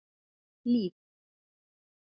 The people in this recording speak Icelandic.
Liv